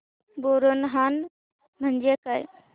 बोरनहाण म्हणजे काय